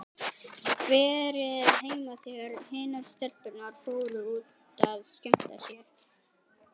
Verið heima þegar hinar stelpurnar fóru út að skemmta sér.